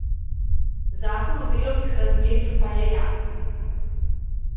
Zakon o delovnih razmerjih pa je jasen.